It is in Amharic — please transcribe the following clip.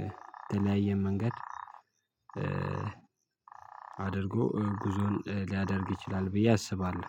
የተለያየ መንገድ አድርጎ ጉዞን ሊያደርግ ይችላል ብዬ አስባለሁ።